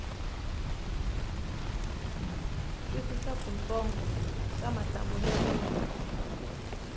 twisisa kutsongo ka mahlamulelo ya